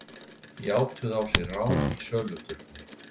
Játuðu á sig rán í söluturni